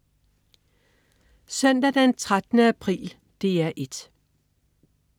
Søndag den 13. april - DR 1: